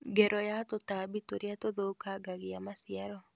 Ngero ya tũtambi tũrĩa tũthũkangagia maciaro